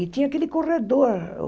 E tinha aquele corredor.